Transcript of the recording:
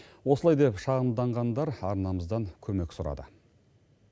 осылай деп шағымданғандар арнамыздан көмек сұрады